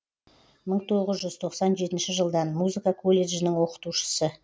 мың тоғыз жүз тоқсан жетінші жылдан музыка колледжінің оқытушысы